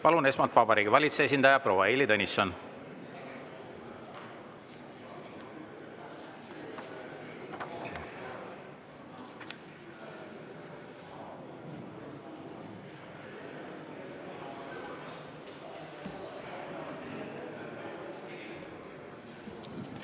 Palun, esmalt Vabariigi Valitsuse esindaja proua Heili Tõnisson!